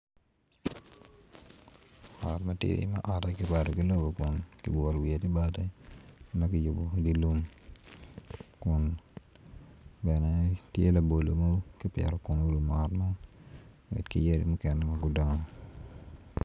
Ot matidi ma kome ki rwado ki lobo wiye tye bati ma kiyubo i dye lum kun i ngete tye kipito labolo orumu woko